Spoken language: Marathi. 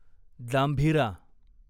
जांभीरा